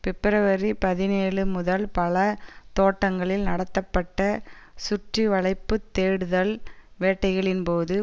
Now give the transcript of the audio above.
பிப்ரவரி பதினேழு முதல் பல தோட்டங்களில் நடத்தப்பட்ட சுற்றிவளைப்புத் தேடுதல் வேட்டைகளின் போது